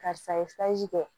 Karisa ye kɛ